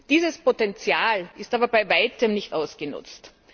Dieses Potenzial ist aber bei Weitem nicht ausgenutzt.